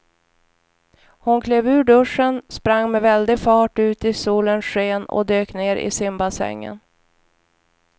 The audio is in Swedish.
Hon klev ur duschen, sprang med väldig fart ut i solens sken och dök ner i simbassängen.